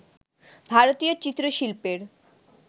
ভারতীয় চিত্র-শিল্পের